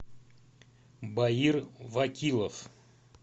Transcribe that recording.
баир вакилов